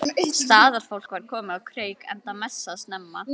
Staðarfólk var komið á kreik enda messað snemma.